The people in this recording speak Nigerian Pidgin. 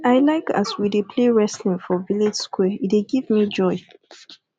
i like as we dey play wrestling for village square e dey give me joy